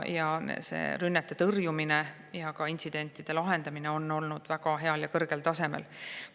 Rünnete tõrjumine ja ka intsidentide lahendamine on olnud väga hea ja kõrgel tasemel.